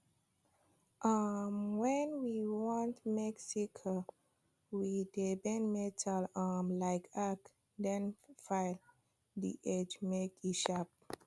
um wen we want make sickle we dey bend metal um like arc then file the edge make e sharp